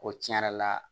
Ko tiɲɛ yɛrɛ la